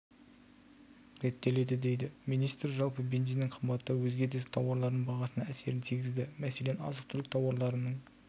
реттеледі дейді министр жалпы бензиннің қымбаттауы өзге де тауарлардың бағасына әсерін тигізді мәселен азық-түлік тауарларының